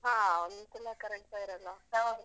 ಹಾ ಒಂದೋನ್ಧಸಲ current ಸ ಇರಲ್ಲ.